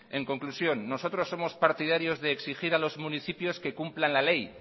en conclusión nosotros somos partidarios de exigir a los municipios que cumplan la ley